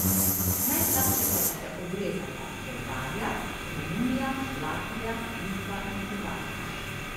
Najslabše pa so se odrezale Bolgarija, Romunija, Latvija, Litva in Hrvaška.